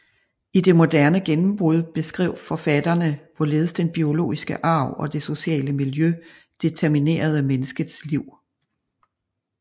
I det moderne gennembrud beskrev forfatterne hvorledes den biologiske arv og det sociale miljø determinerede menneskets liv